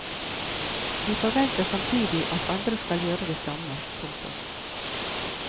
De forventer samtidig at andre skal gjøre det samme. punktum